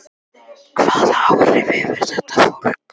Hvaða áhrif hefur þetta fólk?